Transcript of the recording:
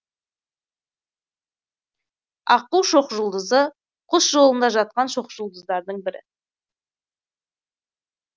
аққу шоқжұлдызы құс жолында жатқан шоқжұлдыздардың бірі